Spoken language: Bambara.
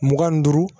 Mugan ni duuru